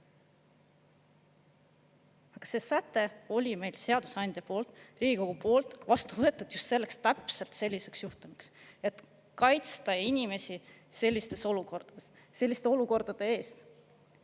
Aga see säte oli meil seadusandja poolt, Riigikogu poolt vastu võetud just selleks, täpselt selliseks juhtumiks, et kaitsta inimesi selliste olukordade eest.